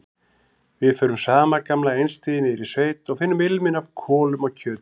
Við förum sama gamla einstigið niður í sveit og finnum ilminn af kolum og kjöti.